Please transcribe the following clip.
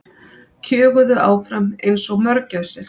Kjöguðu áfram einsog mörgæsir.